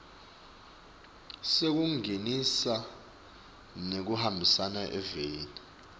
sekungenisa nekuhambisa eveni